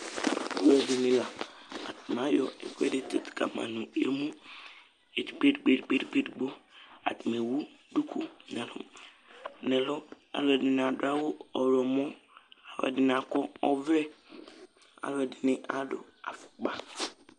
Alʋɛdìní la Ayɔ ɛkʋɛ di tsitu kama nʋ emu ɛdigbo ɛdigbo ɛdigbo Atani ɛwu dʋku nʋ ɛlu Alʋɛdìní adu awu ɔwlɔmɔ Alʋɛdìní akɔ ɔvlɛ Alʋɛdìní adu afukpa